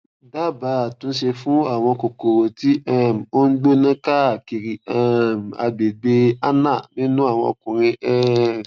dábàá àtúnṣe fún àwọn kòkòrò tí um ó ń gbóná káàkiri um agbègbè anal nínú àwọn ọkùnrin um